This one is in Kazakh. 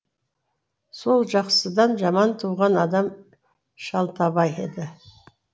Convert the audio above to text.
сол жақсыдан жаман туған адам шалтабай еді